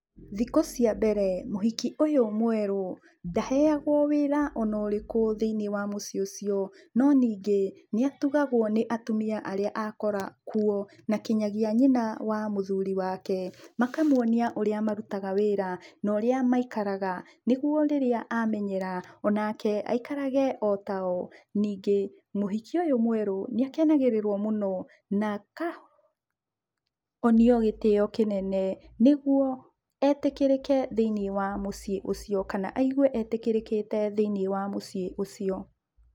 Thikũ cia mbere mũhiki ũyũ mwerũ, ndaheagwo wĩra ona ũrĩkũ thĩiniĩ wa mũciĩ ũcio, no ningĩ, nĩ atugagwo nĩ atumia arĩa akora kuo, na nginya nyina wa mũthuri wake, makamuonia ũrĩa marutaga wĩra, na ũrĩa maikaraga nĩguo rĩrĩa amenyera, onake aikarage o tao. Ningĩ, mũhiki ũyũ mwerũ nĩakenagĩrĩrwo mũno na akonio gĩtĩo kĩnene nĩguo etĩkĩrĩke thĩiniĩ wa mũciĩ ũcio, kana aigue etĩkĩrĩkĩte thĩiniĩ wa mũciĩ ũcio.